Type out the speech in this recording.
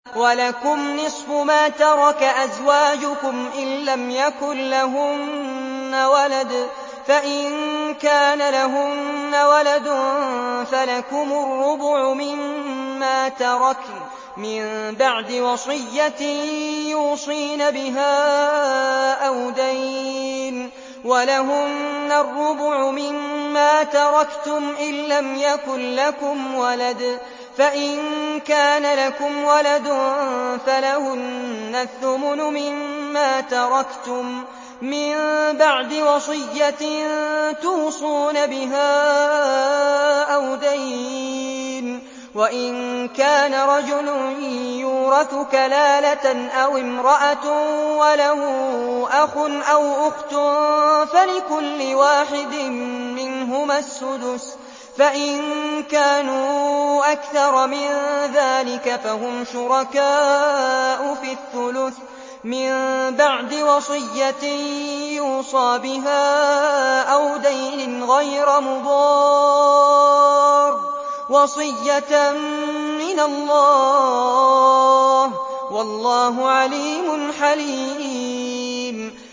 ۞ وَلَكُمْ نِصْفُ مَا تَرَكَ أَزْوَاجُكُمْ إِن لَّمْ يَكُن لَّهُنَّ وَلَدٌ ۚ فَإِن كَانَ لَهُنَّ وَلَدٌ فَلَكُمُ الرُّبُعُ مِمَّا تَرَكْنَ ۚ مِن بَعْدِ وَصِيَّةٍ يُوصِينَ بِهَا أَوْ دَيْنٍ ۚ وَلَهُنَّ الرُّبُعُ مِمَّا تَرَكْتُمْ إِن لَّمْ يَكُن لَّكُمْ وَلَدٌ ۚ فَإِن كَانَ لَكُمْ وَلَدٌ فَلَهُنَّ الثُّمُنُ مِمَّا تَرَكْتُم ۚ مِّن بَعْدِ وَصِيَّةٍ تُوصُونَ بِهَا أَوْ دَيْنٍ ۗ وَإِن كَانَ رَجُلٌ يُورَثُ كَلَالَةً أَوِ امْرَأَةٌ وَلَهُ أَخٌ أَوْ أُخْتٌ فَلِكُلِّ وَاحِدٍ مِّنْهُمَا السُّدُسُ ۚ فَإِن كَانُوا أَكْثَرَ مِن ذَٰلِكَ فَهُمْ شُرَكَاءُ فِي الثُّلُثِ ۚ مِن بَعْدِ وَصِيَّةٍ يُوصَىٰ بِهَا أَوْ دَيْنٍ غَيْرَ مُضَارٍّ ۚ وَصِيَّةً مِّنَ اللَّهِ ۗ وَاللَّهُ عَلِيمٌ حَلِيمٌ